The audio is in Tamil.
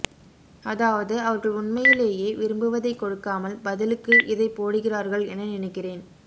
அதாவது அவர்கள் உண்மையிலேயே விரும்புவதைக் கொடுக்காமல் பதிலுக்கு இதை போடுகிறார்கள் என நினைக்கிறேன்